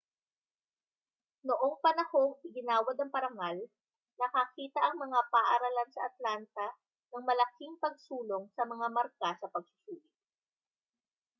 noong panahong iginawad ang parangal nakakita ang mga paaralan sa atlanta ng malaking pagsulong sa mga marka sa pagsusulit